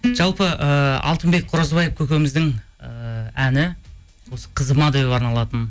жалпы ыыы алтынбек қоразбаев көкеміздің ыыы әні осы қызыма деп арналатын